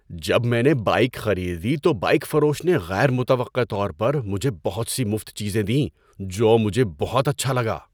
جب میں نے بائیک خریدی تو بایئک فروش نے غیر متوقع طور پر مجھے بہت سی مفت چیزیں دیں، جو مجھے بہت اچھا لگا۔